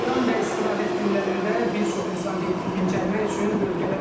Bayram və istirahət günlərində bir çox insan dincəlmək üçün bölgələrə üz tutur.